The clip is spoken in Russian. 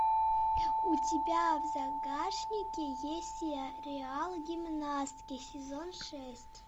у тебя в загашнике есть сериал гимнастки сезон шесть